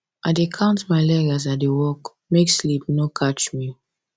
i dey count my leg as i dey work make sleep no catch me